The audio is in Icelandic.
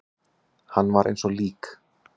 Hann var eins og lík.